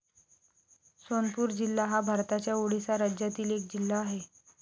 सोनपूर जिल्हा हा भारताच्या ओडिसा राज्यातील एक जिल्हा आहे.